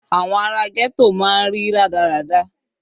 Àwọn ara ghetto máa ń rí rádaràda.